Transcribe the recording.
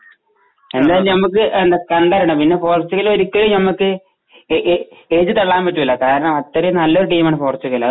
എന്തായാലും നമുക്ക് കണ്ടറിയണം. പിന്നെ പോർച്ചുഗൽ ഒരിക്കലും നമുക്ക് എഴുതി തള്ളാൻ പറ്റൂല്ല. കാരണം അത്രയും നല്ലൊരു ടീമാണ് പോർച്ചുഗൽ.